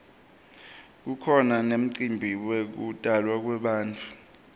kukhona nemicimbi yekutalwa kwebantfu